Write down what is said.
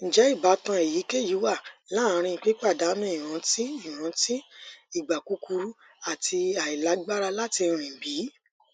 njẹ ibatan eyikeyi wa laarin pipadanu iranti iranti igba kukuru ati ailagbara lati rin bi